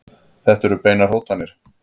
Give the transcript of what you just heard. Þetta eru beinar hótanir.